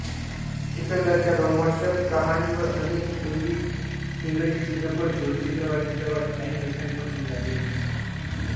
सिकंदरच्या रोमहर्षक कहाणीवर अनेक हिंदीइंग्रजी चित्रपट दूरचित्रवाणीपट एनिमेशनपट निघाले